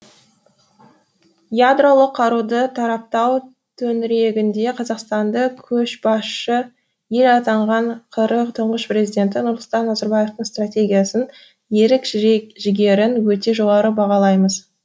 ядролық қаруды таратпау төңірегінде қазақстанды көшбасшы ел атанған қр тұңғыш президенті нұрсұлтан назарбаевтың стратегиясын ерік жігерін өте жоғары бағалаймыз